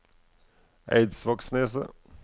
Eidsvågneset